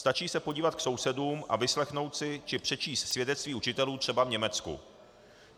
Stačí se podívat k sousedům a vyslechnout si či přečíst svědectví učitelů třeba v Německu.